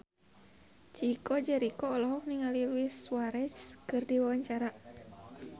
Chico Jericho olohok ningali Luis Suarez keur diwawancara